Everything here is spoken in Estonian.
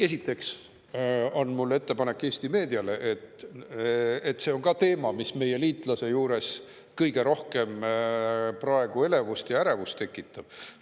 Esiteks on mul ettepanek Eesti meediale: see on teema, mis meie liitlase juures kõige rohkem praegu elevust ja ärevust tekitab.